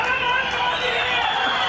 Qarabağın fatehi!